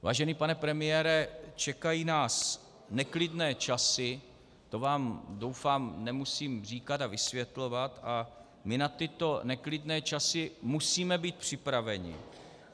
Vážený pane premiére, čekají nás neklidné časy, to vám doufám nemusím říkat a vysvětlovat, a my na tyto neklidné časy musíme být připraveni.